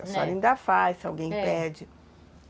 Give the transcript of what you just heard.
A senhora ainda faz, se alguém pede.